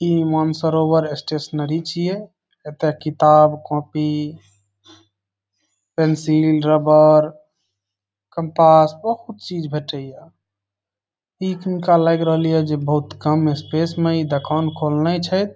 ई Mansarovar stationery छिये एते किताब कॉपी पेंसिल रबर कंपास बहुत चीज भेंटे ये ई हीनका लएग रहले ये इ बहुत कम स्पेस मे ई दूकान खोलने छैथ ।